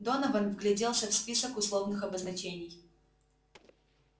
донован вгляделся в список условных обозначений